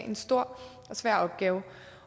en stor og svær opgave